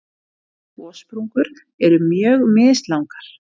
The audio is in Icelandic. Gossprungur eru mjög mislangar.